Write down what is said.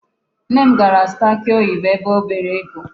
Nne m gara zụta akị oyibo ebe o bere ego.